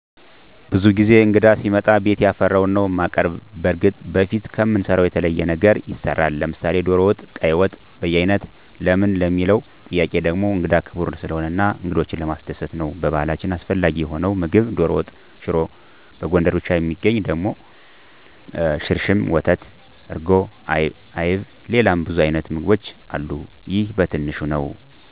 ብዙ ጊዜ እንግዳ ሲመጣ ቤት ያፈራዉን ነዉ እማቀርብ። በርግጥ በፊት ከምንሰራዉ የተለየ ነገር ይሰራል፤ ለምሳሌ ዶሮ ወጥ፣ ቀይ ወጥ፣ በያይነት ለምን ለሚለዉ ጥያቄ ደሞ እንግዳ ክቡር ስለሆነ እና እንግዶችን ለማስደሰት ነዉ። በባህላችን አስፈላጊ የሆነዉ ምግብ ዶሮ ወጥ፣ ሽሮ፣ በጎንደር ብቻ እሚገኝ ደሞ ሽርሽም፣ ወተት፣ እርጎ፣ አይብ፣ ሌላ ብዙ አይነት ምግቦች አሉ ይሄ በትንሹ ነዉ።